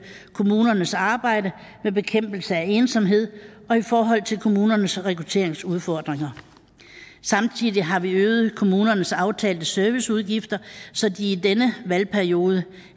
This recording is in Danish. kommunernes arbejde med bekæmpelse af ensomhed og i forhold til kommunernes rekrutteringsudfordringer samtidig har vi øget kommunernes aftalte serviceudgifter så de i denne valgperiode